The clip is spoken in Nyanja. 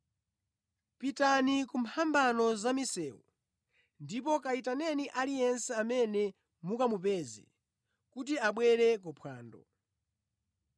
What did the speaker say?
Pitani ku mphambano za misewu ndipo kayitaneni aliyense amene mukamupeze kuti abwere ku phwando.’